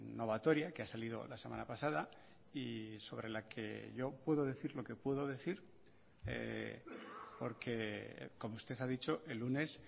novatoria que ha salido la semana pasada y sobre la que yo puedo decir lo que puedo decir porque como usted ha dicho el lunes